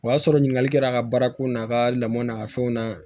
O y'a sɔrɔ ɲininkali kɛra a ka baarako n'a ka lamɔ n'a ka fɛnw na